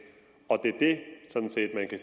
og er det sådan set ikke